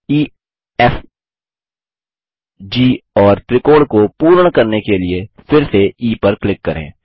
ई F G और त्रिकोण को पूर्ण करने के लिए फिर से ई पर क्लिक करें